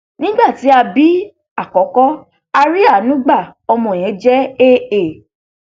nígbà tí a bí àkókò a rí àánú gba ọmọ yẹn jẹ jẹ aa